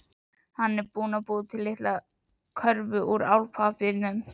Hann er búinn að búa til litla körfu úr álpappírnum.